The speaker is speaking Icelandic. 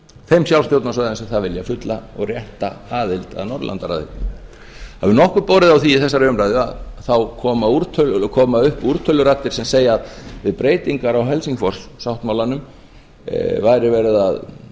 þeim sjálfsstjórnarsvæðum sem það vilja fulla og rétta aðild að norðurlandaráði það hefur nokkuð borið á því í þessari umræðu þá koma upp úrtöluraddir sem segja að við breytingar á helsingfors sáttmálanum væri verið að